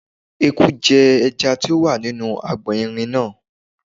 Eku jẹ ẹja tí ó wà nínú agbọ̀n irin náà.